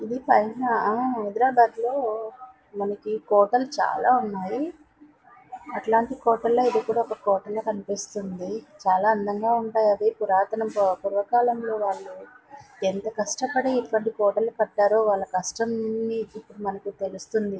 ఇది ఆ హైదరాబాద్ లో మనకి కోటలు చాల ఉన్నాయ్. అత్తలాంటి కోటాలో ఏది కూడా ఒక కోటలా కనిపిస్తుంది. చాలా అందంగా ఉంటాయ్. పురాతనం పూర్వకాలంలో ఎంత కష్టపడి ఈ కోటలని కట్టారో వాళ్ళ కష్టం అని ఇప్పుడు మనకి తెలుస్తుంది.